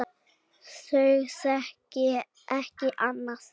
Þau þekki ekki annað.